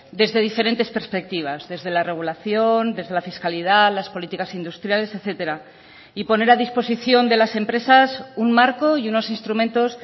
desde diferentes perspectivas desde la regulación desde la fiscalidad las políticas industriales etcétera y poner a disposición de las empresas un marco y unos instrumentos